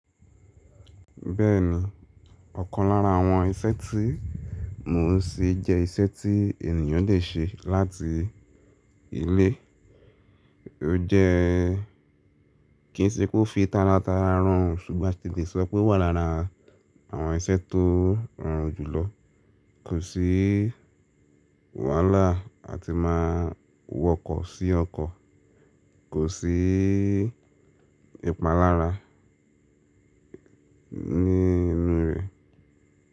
Bẹ́ẹ̀ni, ọ̀kan lára àwọn iṣẹ́ tí mò ń ṣe jẹ́ iṣẹ́ tí ènìyàn lè ṣe láti ilé. Ó jẹ́ kí n síi pé ó fi tárátara rorùn ṣùgbọ́n ti lè sọ pé ó wà lára àwọn iṣẹ́ tó rorùn jùlọ. Kò sí wàhálà àti máa wọkọ̀ sí ọkọ̀, kò sí ìpalára ní inú rẹ̀.